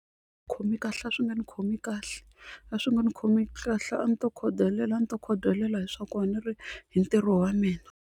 Khomi kahle a swi nga ni khomi kahle a swi nga ni khomi kahle a ni to khodelela a ni to khodelela hi swa ku a ni ri hi ntirho wa mina.